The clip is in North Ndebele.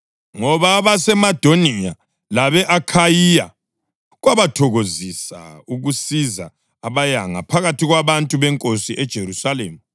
Ngoba abeMasedoniya labe-Akhayiya kwabathokozisa ukusiza abayanga phakathi kwabantu beNkosi eJerusalema.